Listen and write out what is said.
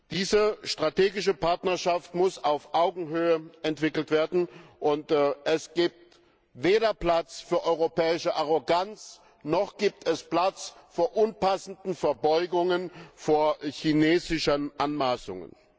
Diese strategische Partnerschaft muss auf Augenhöhe entwickelt werden, und es gibt weder Platz für europäische Arroganz noch für unpassende Verbeugungen vor chinesischen Anmaßungen.